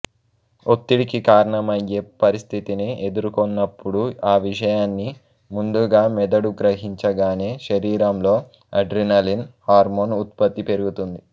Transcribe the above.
ఒత్తిడికి కారణమయ్యే పరిస్థితిని ఎదుర్కొన్నప్పుడు ఆ విషయాన్ని ముందుగా మెదడు గ్రహించగానే శరీరంలో అడ్రినలిన్ హార్మోన్ ఉత్పత్తి పెరుగుతుంది